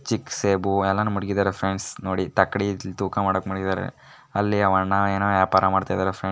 ಚಿಕ್ಕ ಸೇಬು ಎಲ್ಲಾನು ಮಡಗಿದಾರೆ ಫ್ರೆಂಡ್ಸ್ ನೋಡಿ ತಕ್ಕಡಿ ತೂಕ ಮಾಡಕ್ಕೆ ಮಡಗಿದಾರೆ. ಅಲ್ಲಿ ಆ ವಣ್ಣ ಏನೋ ವ್ಯಾಪಾರ ಮಾಡ್ತಾ ಇದ್ದಾರೆ --